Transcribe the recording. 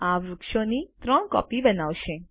આ વૃક્ષોની ત્રણ કોપી બનાવશે